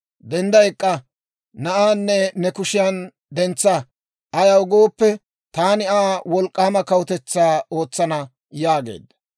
dendda ek'k'a; na'aanne ne kushiyaan dentsa; ayaw gooppe, taani Aa wolk'k'aama kawutetsaa ootsana» yaageedda.